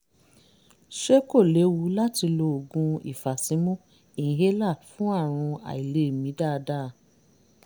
ṣé kò léwu láti lo oògùn ìfàsímú inhaler fún àrùn àìlèmí dáadáa?